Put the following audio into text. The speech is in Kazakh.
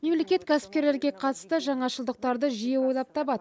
мемлекет кәсіпкерлерге қатысты жаңашылдықтарды жиі ойлап табады